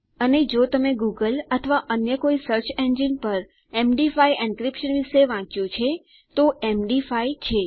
અને જો તમે ગૂગલ અથવા અન્ય કોઈ સર્ચ ઈન્જીન પર એમડી5 એન્ક્રિપ્શન વિશે વાચ્યું છે તે એમ ડી 5 છે